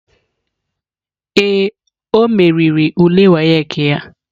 Ee, o meriri ule WAEC ya.